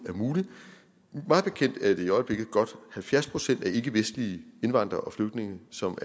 er muligt mig bekendt er det i øjeblikket godt halvfjerds procent af ikkevestlige indvandrere og flygtninge som